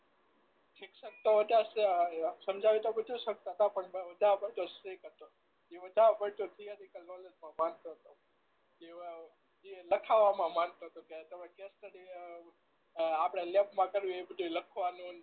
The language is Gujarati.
શિક્ષક તો સમજાવી તો બધું સકતા પ્રોપર પણ વધારે પડતો સ્ટ્રીક વધારે પડતું તો થીયરીકલ નોલેજ માં માનતો તો એ લખવામાં માનતો તો તો કે તમે કેશ સ્ટડી જે આપણે લેબ માં કર્યું હોય તે લખવાનું ન